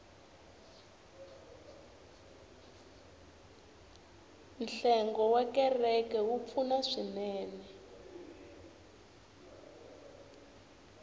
nhlengo wa kereke wa pfuna swinene